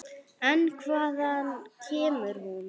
En hvaðan kemur hún?